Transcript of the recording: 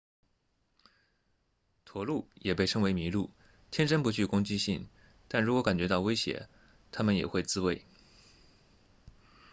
驼鹿也被称为麋鹿天生不具攻击性但如果感觉到威胁它们也会自卫